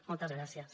moltes gràcies